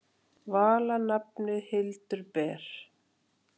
Vala nafnið Hildur ber.